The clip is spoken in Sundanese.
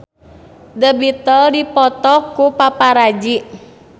The Beatles dipoto ku paparazi